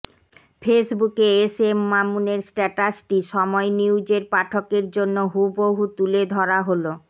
ফেসবুকে S M মামুনের স্ট্যাটাসটি সময় নিউজের পাঠকের জন্য হুবহু তুলে ধরা হলো